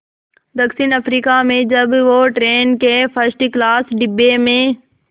दक्षिण अफ्रीका में जब वो ट्रेन के फर्स्ट क्लास डिब्बे में